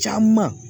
Caman